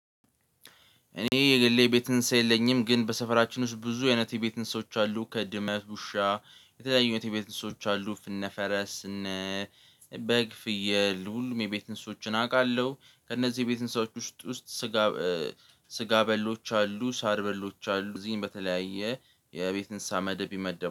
እኔ የግሌ የቤት እንስሳ የለኝም። ግን በሰፈራችን ውስጥ ብዙ አይነት የቤት እንስሳዎች አሉ ከድመት ውሻ የተለያዩ አይነት የቤት እንስሶች አሉ። እነፈረስ እነ በግ ፍየል ሁሉም የቤት እንስሶችን አውቃለሁ። ከእነዚህ የቤት እንስሳዎች ውስጥ ውስጥ ስጋ ስጋ በሎች አሉ ሳር በሎች አሉ እዚህም በተለያየ የቤት እንስሳ መደብ ይመደብ